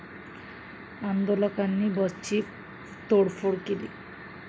आंदोलकांनी बसची तोडफोड केली.